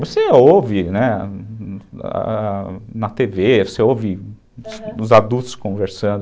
Você ouve, né, na te vê, você ouve os adultos conversando, aham.